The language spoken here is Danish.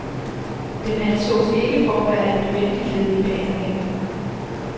Den ansås ikke for at være et nødvendigt led i behandlingen.